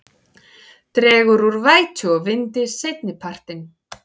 Dregur úr vætu og vindi seinnipartinn